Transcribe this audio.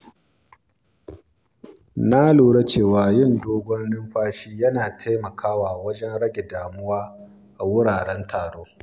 Na lura cewa yin dogon numfashi yana taimakawa wajen rage damuwa a wuraren taro.